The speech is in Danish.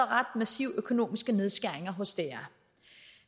ret massive økonomiske nedskæringer hos dr